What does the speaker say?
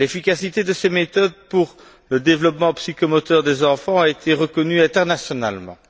L'efficacité de ces méthodes pour le développement psychomoteur des enfants a été reconnue internationalement.